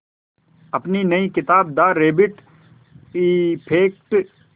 अपनी नई किताब द रैबिट इफ़ेक्ट